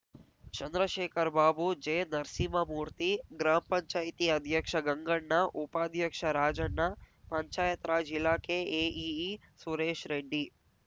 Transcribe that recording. ಚಂದ್ರಶೇಖರ್‍ಬಾಬು ಜೆನರಸಿಂಹಮೂರ್ತಿ ಗ್ರಾಮಪಂಚಾಯತಿಅಧ್ಯಕ್ಷ ಗಂಗಣ್ಣ ಉಪಾಧ್ಯಕ್ಷ ರಾಜಣ್ಣ ಪಂಚಾಯತ್ರಾಜ್ ಇಲಾಖೆ ಎಇಇ ಸುರೇಶ್‍ರೆಡ್ಡಿ